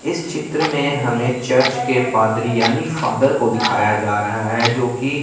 इस चित्र में हमें चर्च के पादरी यानी फादर को दिखाया जा रहा है जोकि--